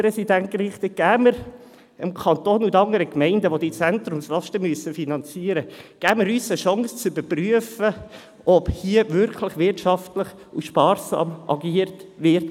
Geben wir uns als Kanton und den Gemeinden, die diese Zentrumslasten finanzieren müssen, die Chance zu überprüfen, ob hier wirklich wirtschaftlich und sparsam agiert wird.